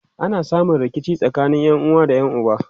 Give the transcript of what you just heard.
ana samun rikici tsakanin ƴanuwa da ƴan uba